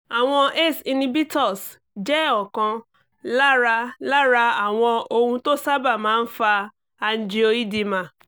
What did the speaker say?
àwọn ace inhibitors jẹ́ ọ̀kan lára lára àwọn ohun tó sábà máa ń fa angioedema